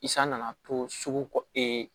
I san nana to sugu kɔ